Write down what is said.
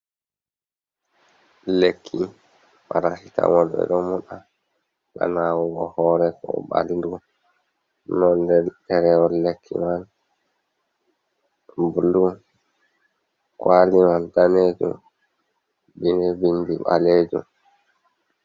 Lekki parasitamol ɓeɗo moɗa, ha nawugo hore, ko ɓaldu. nonde ɗerewol lekki man bulu, kwali man danejum be bindi ɓalejum.